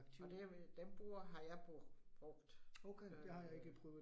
Og det øh dem bruger har jeg brugt brugt øh